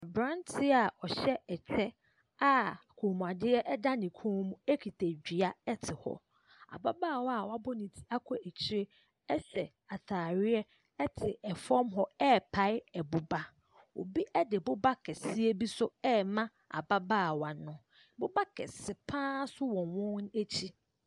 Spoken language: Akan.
Aberanteɛ a ɔhyɛ ɛhyɛ a kɔnmuadeɛ da ne kɔn mu kita dua te hɔ. Ababaawa a wabɔ ne ti akɔ akyire hyɛ atadeɛ te fam hɔ repae boba. Obi de boba kɛseɛ bi nso rema ababaawa no. boba kɛse pa ara nso wɔ wɔn akyi.